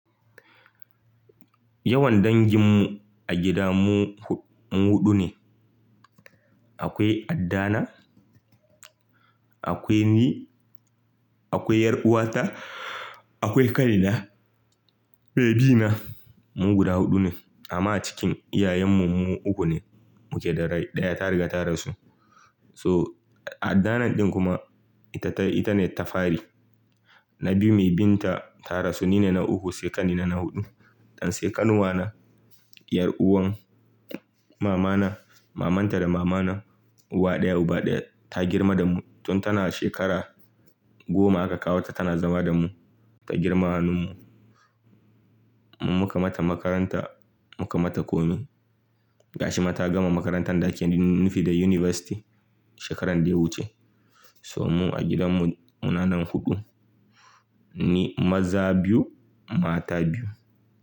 Yawan danginmu a gida mu huɗu ne. Akwai addana, akwai ni, akwai ƴaruwata, akwai Kaini na, maiɓi na. Mu guda huɗu ne amma cikin iyayenmu mu uku ne muke da rai. Ɗaya ta riga ta rasu. So addanan ɗin kuma ita ta, ita ne ta fari, na biyu mai binta ta rasu, ni ne na uku, sai ƙani na, na huɗu. Ɗan sai ƙanuwana, ƴaruwan mamana, maman ta da mama na uwa ɗaya, uba ɗaya. Ta girma da mu tun tana shekara goma aka kawo ta, tana zama da mu, ta girma hannun mu. Mu muka mata makaranta, muka mata kome. Ga shi mata gama makaranta ɗakin ni, nifi da yunifasti shekaran da ya wuce. So mu a gidan mu munanan huɗu. Ni maza biyu, mata biyu.